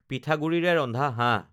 পিঠাগুড়িৰে ৰন্ধা হাঁহ